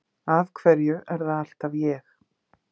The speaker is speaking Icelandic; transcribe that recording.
Af hverju er það alltaf ég?